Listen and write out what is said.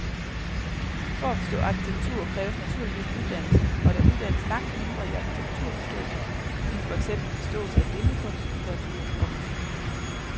For at forstå arkitektur kræves naturligvis uddannelse, og der uddannes langt mindre i arkitekturforståelse end for eksempel i forståelse af billedkunst, litteratur og musik.